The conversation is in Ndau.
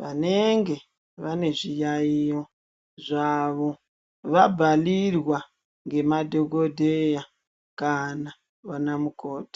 vanenge vane zviyayiyo zvavo vabhalirwa ngemadhokodheya kana vana mukoti.